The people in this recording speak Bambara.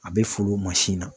A be foolo mansi na